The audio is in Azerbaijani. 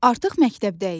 Artıq məktəbdəyik.